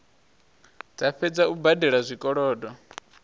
dza fhedza u badela zwikolodo